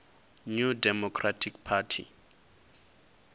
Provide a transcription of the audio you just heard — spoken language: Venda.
new democratic party